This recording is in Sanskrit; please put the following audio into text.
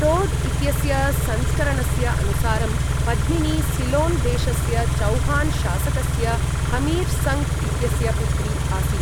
टोड् इत्यस्य संस्करणस्य अनुसारं, पद्मिनी सिलोन् देशस्य चौहान शासकस्य हमीर् संक् इत्यस्य पुत्री आसीत्।